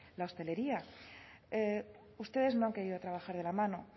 la hostelería ustedes no han querido trabajar de la mano